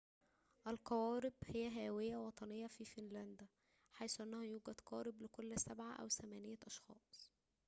القوارب هي هواية وطنية في فنلندا حيث أنه يوجد قاربٌ لكل سبعةِ أو ثمانيةِ أشخاصٍ